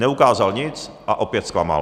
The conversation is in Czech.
Neukázal nic a opět zklamal.